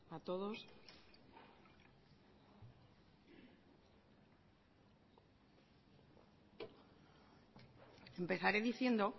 a todos empezaré diciendo